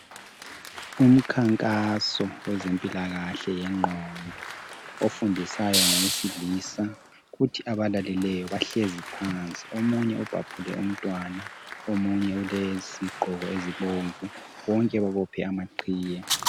umkhankaso wezempilakahle yenqondo ofundisayo ngowesilisa kuthi abalaleleyo bahlezi phansi omunye ubhabhule umntwana omunye ulezigqoko ezibomvu bonke babophe amaqhiye